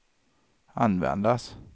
användas